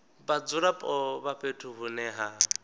vhadzulapo vha fhethu hune ha